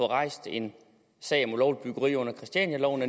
rejst en sag om ulovligt byggeri under christianialoven